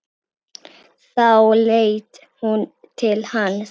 Þá leit hún til hans.